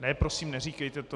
Ne, prosím, neříkejte to!